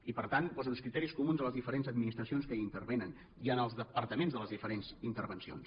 i per tant posen uns criteris comuns a les diferents administracions que hi intervenen i en els departaments de les diferents intervencions